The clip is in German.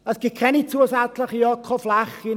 Es gibt keine zusätzlichen Ökoflächen.